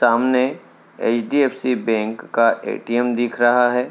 सामने HDFC bank का ATM दिख रहा है।